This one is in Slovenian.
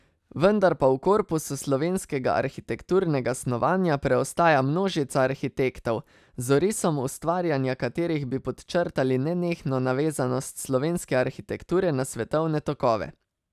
Vendar pa v korpusu slovenskega arhitekturnega snovanja preostaja množica arhitektov, z orisom ustvarjanja katerih bi podčrtali nenehno navezanost slovenske arhitekture na svetovne tokove.